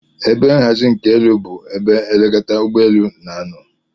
Ebe nhazi nke elu bu ebe elekọta ụgbọ elu n'anọ